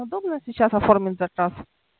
удобно сейчас оформить заказ